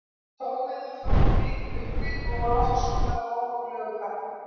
Togveiðar þóttu mikil uppgrip og voru oft sóttar af óhóflegu kappi.